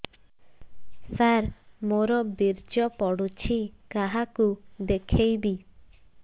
ସାର ମୋର ବୀର୍ଯ୍ୟ ପଢ଼ୁଛି କାହାକୁ ଦେଖେଇବି